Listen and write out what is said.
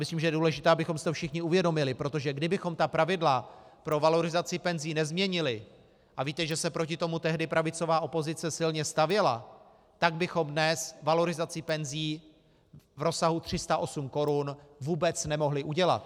Myslím, že je důležité, abychom si to všichni uvědomili, protože kdybychom ta pravidla pro valorizaci penzí nezměnili, a víte, že se proti tomu tehdy pravicová opozice silně stavěla, tak bychom dnes valorizaci penzí v rozsahu 308 korun vůbec nemohli udělat.